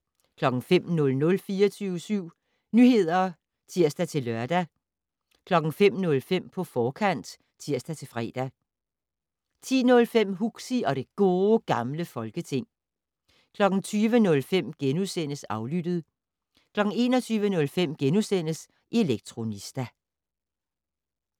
05:00: 24syv Nyheder (tir-lør) 05:05: På forkant (tir-fre) 10:05: Huxi og det Gode Gamle Folketing 20:05: Aflyttet * 21:05: Elektronista *